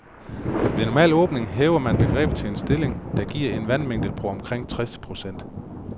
Ved normal åbning hæver man grebet til en stilling, der giver en vandmængde på omkring tres procent.